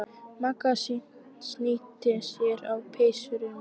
Magga og snýtti sér á peysuerminni.